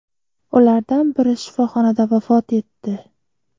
Ulardan biri shifoxonada vafot etdi.